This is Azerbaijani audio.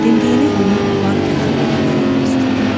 Dimdiyini onun barı-tətri verən yanağına sürtdü.